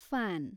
fan